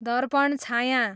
Darpan Chhaya